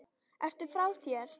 Ertu frá þér!?